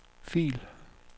fil